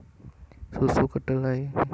Susu Kedelai